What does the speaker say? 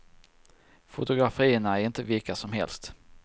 Fotografierna är inte vilka som helst.